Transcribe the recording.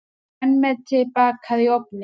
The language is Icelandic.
Grænmeti bakað í ofni